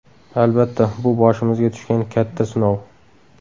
Albatta, bu boshimizga tushgan katta sinov.